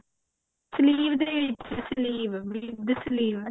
sleeve ਦੇ ਵਿੱਚ sleeve ਵੀ sleeve